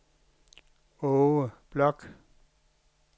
Aage Bloch